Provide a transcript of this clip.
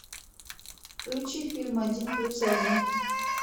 включи фильм один плюс один